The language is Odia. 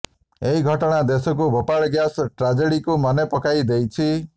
ଏହି ଘଟଣା ଦେଶକୁ ଭୋପାଳ ଗ୍ୟାସ୍ ଟ୍ରାଜେଡିକୁ ମନେ ପକାଇ ଦେଇଛି